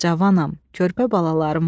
Cavanəm, körpə balalarım var.